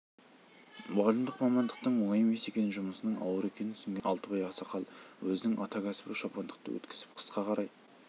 мұғалімдік мамандықтың оңай емес екенін жұмысының ауыр екенін түсінген алтыбай ақсақал өзінің ата кәсібі шопандықты өткізіп қысқа қарай